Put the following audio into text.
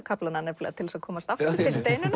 kaflana til að komast aftur til Steinunnar